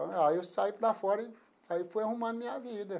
Aí eu saí para fora e aí fui arrumar minha vida.